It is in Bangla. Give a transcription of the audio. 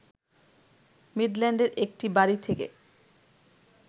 মিডল্যান্ডের একটি বাড়ী থেকে